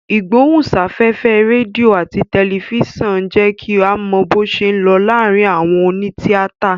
Ìgbóhùn sáfẹ́fẹ́ rédíò àti tẹ̀lifísàn ń jẹ́ kí a mọ bó ṣé ń lọ láàárín àwọn òní tíátà